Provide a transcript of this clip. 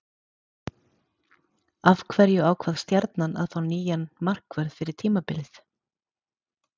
Af hverju ákvað Stjarnan að fá nýjan markvörð fyrir tímabilið?